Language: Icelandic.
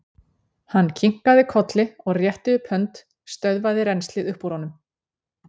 Hann kinkaði kolli og rétti upp hönd, stöðvaði rennslið upp úr honum.